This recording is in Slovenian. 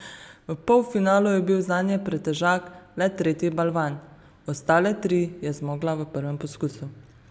V polfinalu je bil zanjo pretežak le tretji balvan, ostale tri je zmogla v prvem poskusu.